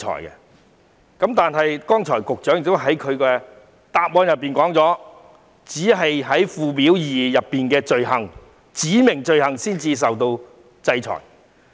可是，局長剛才在主體答覆中指出，只有違反附表2訂明的罪行才會受到制裁。